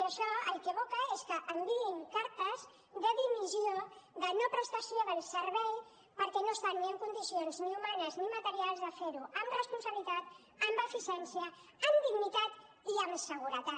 i això al que aboca és que enviïn cartes de dimissió de no prestació del servei perquè no estan ni en condicions humanes ni materials de fer ho amb responsabilitat amb eficiència amb dignitat i amb seguretat